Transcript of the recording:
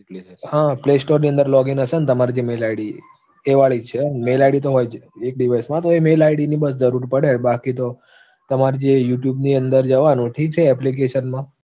play store ની અંદર login હશે ને તમારી gmail id એ વાળી જ છે. mail id તો હોય જ. mail id એ ની બસ જરૂર પડે બાકી તો તમારે જે youtube ની અંદર જવાનું, ઠીક છે application માં